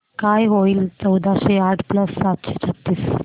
काय होईल चौदाशे आठ प्लस सातशे छ्त्तीस